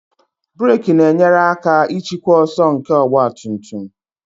Brek na-enyere aka ịchịkwa ọsọ nke ọgba tum tum